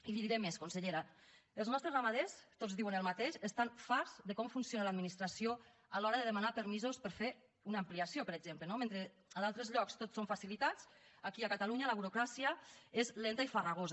i li diré més consellera els nostres ramaders tots diuen el mateix estan farts de com funciona l’administració a l’hora de demanar permisos per fer una ampliació per exemple no mentre a d’altres llocs tot són facilitats aquí a catalunya la burocràcia és lenta i farragosa